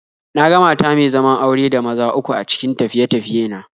Na ga mata me zaman aure da maza uku a cikin tafiye-tafiye na